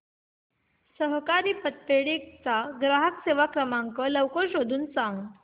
सहकारी पतपेढी चा ग्राहक सेवा क्रमांक लवकर शोधून सांग